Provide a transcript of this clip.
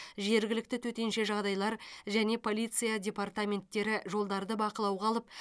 жергілікті төтенше жағдайлар және полиция департаменттері жолдарды бақылауға алып